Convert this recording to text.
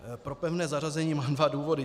Pro pevné zařazení mám dva důvody.